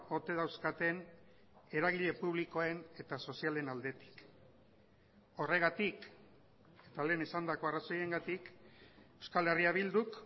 ote dauzkaten eragile publikoen eta sozialen aldetik horregatik eta lehen esandako arrazoiengatik euskal herria bilduk